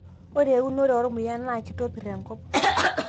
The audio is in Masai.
ore eunoto ormuya naa kitopir enkop